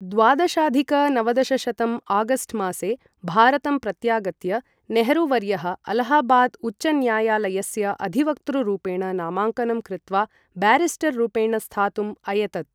द्वादशाधिक नवदशशतं अगस्ट् मासे भारतं प्रत्यागत्य, नेहरू वर्यः अलाहाबाद् उच्चन्यायालयस्य अधिवक्तृरूपेण नामाङ्कनं कृत्वा ब्यारिस्टररूपेण स्थातुम् अयतत।